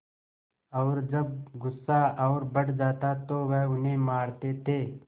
और जब गुस्सा और बढ़ जाता तो वह उन्हें मारते थे